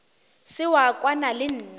se wa kwana le nna